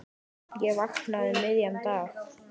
Ég vaknaði um miðjan dag.